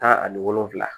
Tan ani wolonwula